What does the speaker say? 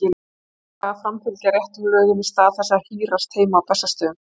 Þeir eiga að framfylgja réttum lögum í stað þess að hírast heima á Bessastöðum.